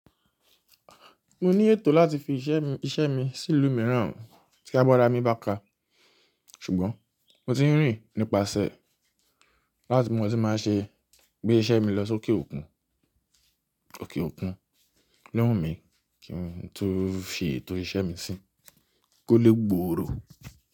Mo ní ètò láti fi iṣẹ́ mi sí ìlú mìíràn tí a bá ra mi báka. Ṣùgbọ́n mo ti ń rìn nípasẹ̀ láti kí mo lè má ṣe gbé iṣẹ́ mi lọ sókè òkun. Kíni wù mí kí n tu fi ètò iṣẹ́ mi sí i? Kò lé gbòòrò.